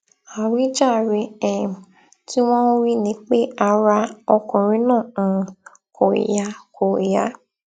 àwíjàre um tí wọn ń wí ni pé ara ọkùnrin náà um kò yá kò yá